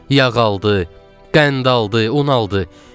Yağ aldı, qənd aldı, un aldı.